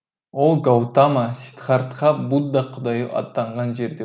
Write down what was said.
ол гаутама сиддхартха будда құдайы атанған жерде